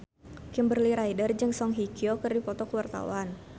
Kimberly Ryder jeung Song Hye Kyo keur dipoto ku wartawan